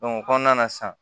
o kɔnɔna na sisan